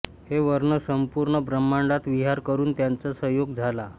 हे वर्ण सम्पूर्ण ब्रम्हाण्डात विहार करून त्यांचा संयोग झाला